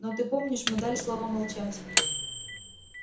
но ты помнишь мы дали слово молчать